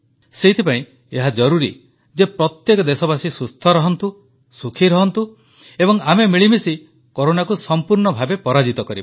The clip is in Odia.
ସେଥିପାଇଁ ଏହା ଜରୁରୀ ଯେ ପ୍ରତ୍ୟେକ ଦେଶବାସୀ ସୁସ୍ଥ ରହନ୍ତୁ ସୁଖୀ ରହନ୍ତୁ ଏବଂ ଆମେ ମିଳିମିଶି କରୋନାକୁ ସଂପୂର୍ଣ୍ଣ ଭାବେ ପରାଜିତ କରିବା